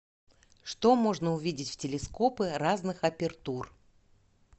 что можно увидеть в телескопы разных апертур